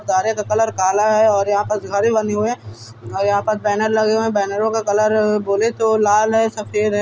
गारे का कलर काला है और यहाँ पर घरें बनी हुए हैं और यहाँ पर बैनर लगे हुए हैं। बैनरों का कलर बोले तो लाल है सफेद है।